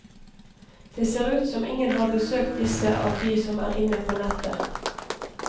Det ser ut som ingen har besøkt disse av de som er inne på nettet.